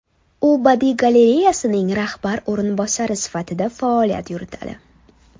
U badiiy galereyasining rahbar o‘rinbosari sifatida faoliyat yuritadi.